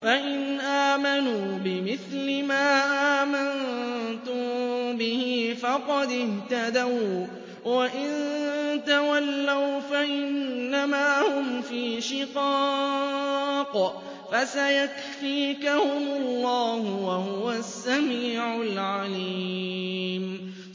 فَإِنْ آمَنُوا بِمِثْلِ مَا آمَنتُم بِهِ فَقَدِ اهْتَدَوا ۖ وَّإِن تَوَلَّوْا فَإِنَّمَا هُمْ فِي شِقَاقٍ ۖ فَسَيَكْفِيكَهُمُ اللَّهُ ۚ وَهُوَ السَّمِيعُ الْعَلِيمُ